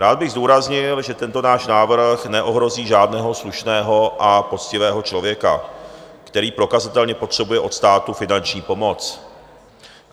Rád bych zdůraznil, že tento náš návrh neohrozí žádného slušného a poctivého člověka, který prokazatelně potřebuje od státu finanční pomoc.